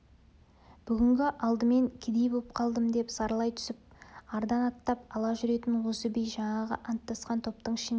бүгінгі алымын кедей боп қалдым деп зарлай түсіп ардан аттап ала жүретін осы би жаңағы анттасқан топтың ішінде